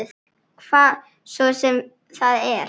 Hvað svo sem það er.